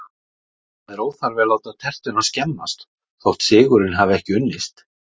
Það er óþarfi að láta tertuna skemmast þótt sigurinn hafi ekki unnist